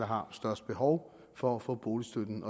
har størst behov for at få boligstøtten